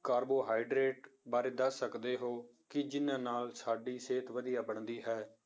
Carbohydrate ਬਾਰੇ ਦੱਸ ਸਕਦੇ ਹੋ, ਕਿ ਜਿੰਨਾਂ ਨਾਲ ਸਾਡੀ ਸਿਹਤ ਵਧੀਆ ਬਣਦੀ ਹੈ।